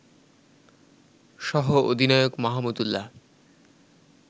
সহ-অধিনায়ক Mahmudullah